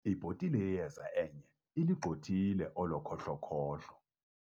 Ibhotile yeyeza enye ilugxothile olo khohlo-khohlo.